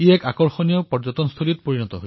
এয়া এক আকৰ্ষণীয় পৰ্যটন ভূমিও